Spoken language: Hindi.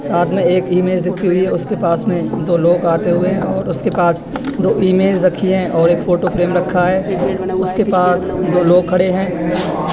साथ में एक इमेज दिखती हुई है उसके पास में दो लोग आते हुए उसके पास दो इमेज रखी है और एक फोटो फ्रेम रखा है उसके पास दो लोग खड़े हैं।